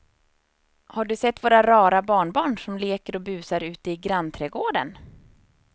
Har du sett våra rara barnbarn som leker och busar ute i grannträdgården!